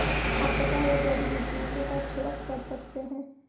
आप कटा हुआ जड़ी बूटियों के साथ छिड़क कर सकते हैं